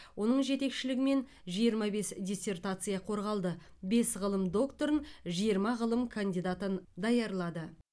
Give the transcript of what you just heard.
оның жетекшілігімен жиырма бес диссертация қорғалды бес ғылым докторын жиырма ғылым кандидатын даярлады